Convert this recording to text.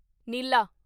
ਨੀਲਾ